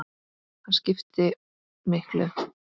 Hann skiptir miklu.